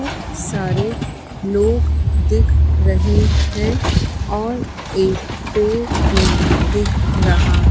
बहोत सारे लोग दिख रहे है और एक पेड़ भी दिख रहा--